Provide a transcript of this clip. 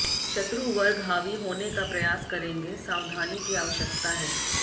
शत्रु वर्ग हावी होने का प्रयास करेंगे सावधानी की आवश्यकता है